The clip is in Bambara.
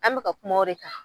An bɛka kuma o re kan.